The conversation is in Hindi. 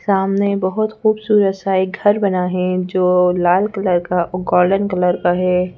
सामने बहुत खूबसूरत सा एक घर बना है जो लाल कलर का और गोल्डन कलर का है।